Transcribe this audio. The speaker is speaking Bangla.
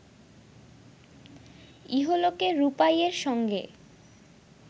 ইহলোকে রূপাইয়ের সঙ্গে